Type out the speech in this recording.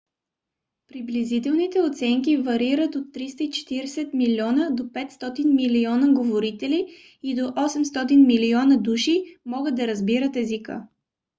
приблизителните оценки варират от 340 млн. до 500 милиона говорители и до 800 милиона души могат да разбират езика